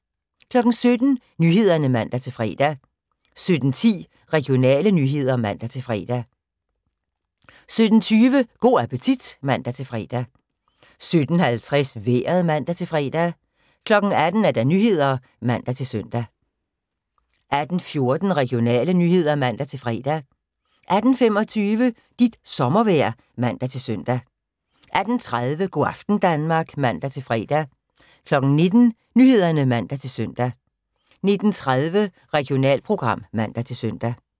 17:00: Nyhederne (man-fre) 17:10: Regionale nyheder (man-fre) 17:20: Go' appetit (man-fre) 17:50: Vejret (man-fre) 18:00: Nyhederne (man-søn) 18:14: Regionale nyheder (man-fre) 18:25: Dit sommervejr (man-søn) 18:30: Go' aften Danmark (man-fre) 19:00: Nyhederne (man-søn) 19:30: Regionalprogram (man-søn)